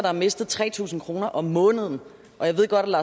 har mistet tre tusind kroner om måneden jeg ved godt